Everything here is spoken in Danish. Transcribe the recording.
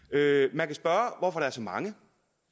man kan spørge hvorfor der er så mange